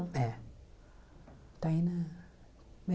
É. Está aí, né?